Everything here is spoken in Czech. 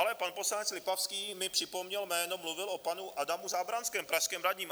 Ale pan poslanec Lipavský mi připomněl jméno - mluvil o panu Adamu Zábranském, pražském radním.